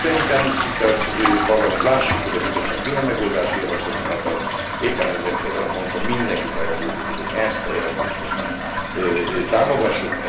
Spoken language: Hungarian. Szerintem, tisztelt Parlament, lássuk meg, hogy a Bizottság milyen megoldási javaslatokat ad, éppen ezért ezen a ponton mindenkit arra buzdítok, hogy ezt a jelentést most így támogassuk.